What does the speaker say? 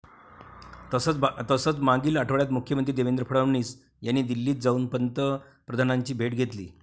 तसंच मागील आठवड्यात मुख्यमंत्री देवेंद्र फडणवीस यांनी दिल्लीत जाऊन पंतप्रधानांची भेट घेतली.